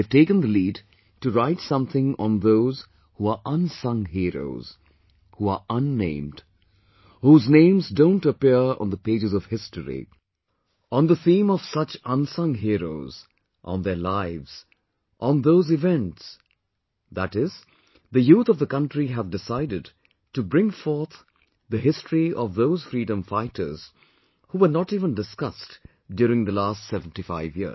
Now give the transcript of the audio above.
They have taken the lead to write something on those who are unsung heroes, who are unnamed, whose names don't appear on the pages of history, on the theme of such unsung heroes, on their lives, on those events, that is the youth of the country have decided to bring forth the history of those freedom fighters who were not even discussed during the last 75 years